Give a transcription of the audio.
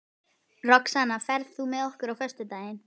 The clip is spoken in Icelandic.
Roxanna, ferð þú með okkur á föstudaginn?